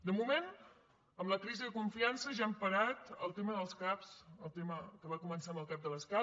de moment amb la crisi de confiança ja hem parat el tema dels cap el tema que va començar amb el cap de l’escala